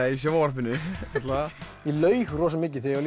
í sjónvarpinu ég laug rosa mikið þegar